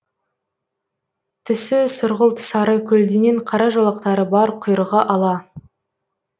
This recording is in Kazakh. түсі сұрғылт сары көлденең қара жолақтары бар құйрығы ала